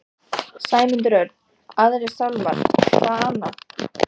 Sæmundur Örn, Aðrir sálmar, hvað annað?